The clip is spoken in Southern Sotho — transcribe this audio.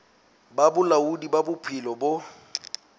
ba bolaodi ba bophelo bo